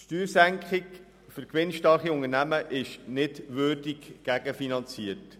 Es ist nicht möglich, eine Steuersenkung für gewinnstarke Unternehmen würdig gegenzufinanzieren.